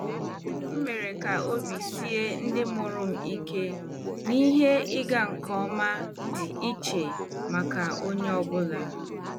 M mere ka obi sie ndị mụrụ m ike na ihe ịga nke ọma dị iche maka onye ọ bụla.